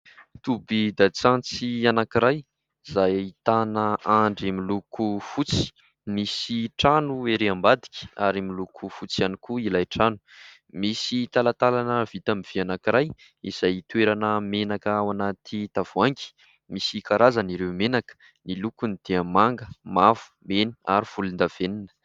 Tobin_dasantsy anankiray izay ahitana andry miloko fotsy misy trano ery ambadika ary miloko fotsy ihany koa ilay trano, misy talatalana vita amin'ny vy anankiray izay toerana menaka ao anaty tavoahangy misy karazana ireo menaka ; ny lokony dia manga, mavo meny ary volon-davenina.